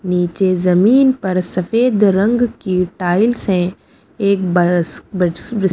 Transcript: नीचे जमीन पर सफ़ेद रंग की टाइल्स हैं एक बस बिस ब--